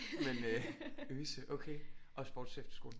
Men øh Øse okay og sportsefterskole